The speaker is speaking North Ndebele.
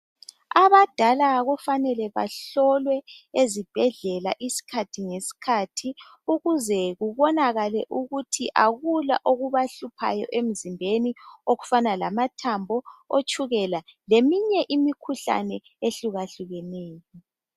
Abadala kufanele bahlolwe ezibhedlela. Isikhathi ngesikhathi. Ukuze kubonakale ukuthi kakula okubahluphayo emzimbeni. Okufana lamathambo, itshukela. Leminye imikhuhlane, ahlukahlukeneyo.